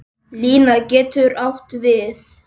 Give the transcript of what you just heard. Lína getur átt við